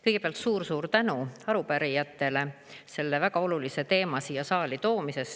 Kõigepealt suur-suur tänu arupärijatele selle väga olulise teema siia saali toomise eest.